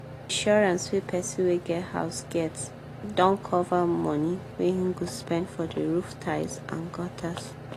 insurance wey person wey get house get don cover money wey he go spend for the roof tiles and gutters